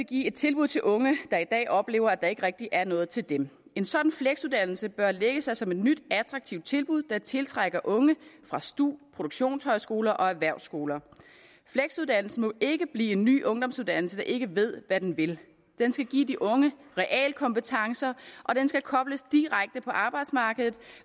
give et tilbud til unge der i dag oplever at der ikke rigtig er noget til dem en sådan fleksuddannelse bør lægge sig som et nyt attraktivt tilbud der tiltrækker unge fra stu produktionshøjskoler og erhvervsskoler fleksuddannelsen må ikke blive en ny ungdomsuddannelse der ikke ved hvad den vil den skal give de unge realkompetencer og den skal kobles direkte på arbejdsmarkedet